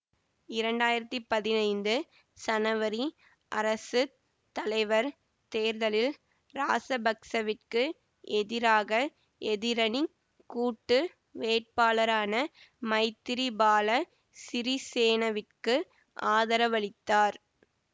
இரண்டாயிரத்தி பதினைந்து சனவரி அரசு தலைவர் தேர்தலில் ராசபக்சவிற்கு எதிராக எதிரணிக் கூட்டு வேட்பாளரான மைத்திரிபால சிறிசேனவிற்கு ஆதரவளித்தார்